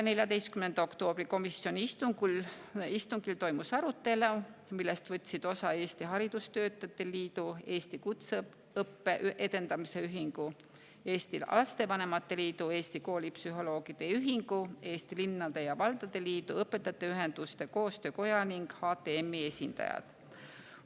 14. oktoobri komisjoni istungil toimus arutelu, millest võtsid osa Eesti Haridustöötajate Liidu, Eesti Kutseõppe Edendamise Ühingu, Eesti Lastevanemate Liidu, Eesti Koolipsühholoogide Ühingu, Eesti Linnade ja Valdade Liidu, Õpetajate Ühenduste Koostöökoja ning HTM-i esindajad.